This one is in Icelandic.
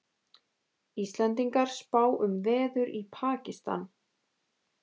Íslendingar spá um veður í Pakistan